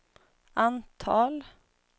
antal